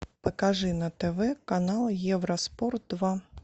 покажи на тв канал евроспорт два